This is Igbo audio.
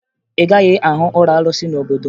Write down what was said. Ị gaghị ahụ ụlọ arụsị n'obodo m